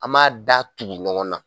An b'a da tugu ɲɔgɔn na.